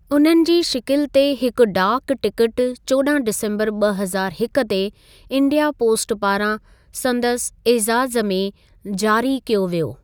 उन्हनि जी शिकिलि ते हिकु डाक टिकटु चोॾहं डिसम्बर ॿ हज़ारु हिकु ते इंडिया पोस्ट पारां संदसि ऐज़ाज़ में जारी कयो वियो।